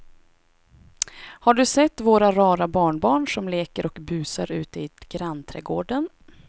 Har du sett våra rara barnbarn som leker och busar ute i grannträdgården!